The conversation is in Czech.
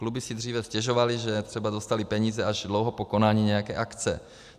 Kluby si dříve stěžovaly, že třeba dostaly peníze až dlouho po konání nějaké akce.